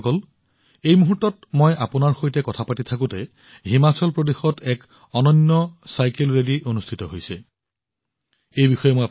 বন্ধুসকল এই মুহূৰ্তত যেতিয়া মই আপোনালোকৰ সৈতে কথা পাতি আছোঁ হিমাচল প্ৰদেশত এক অনন্য চাইকেল ৰেলীও চলি আছে